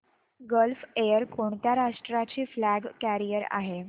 gulf Air कोणत्या राष्ट्राची flag carrier आहे